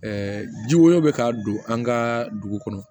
ji wɛrɛw bɛ ka don an ka dugu kɔnɔ